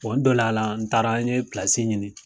dol'a la n taara n ye i ɲini.